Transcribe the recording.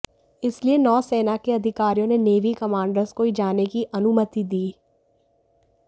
इसलिए नौसेना के अधिकारियों ने नेवी कमांडर्स को ही जाने की अनुमति दी